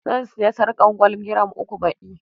Zan sayi sarƙar gwal giram uku baɗi.